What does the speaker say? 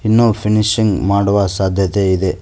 ಇನ್ನು ಫಿನಿಷಿಂಗ್ ಮಾಡುವ ಸಾಧ್ಯತೆ ಇದೆ.